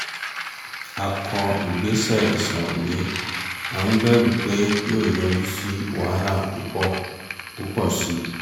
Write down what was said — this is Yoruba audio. a kọ ìgbésẹ̀ ìṣàróyé à ń bẹ̀rù pé yóò yọrí sí wàhálà púpọ̀ púpọ̀ sí i